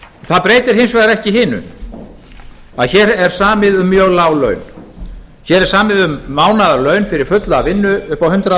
það breytir hins vegar ekki hinu að hér er samið um mjög lág laun hér er samið um mánaðarlaun fyrir fulla vinnu upp á hundrað